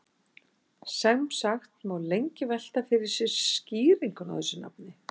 sem sagt má lengi velta fyrir sér skýringunni á þessu nafni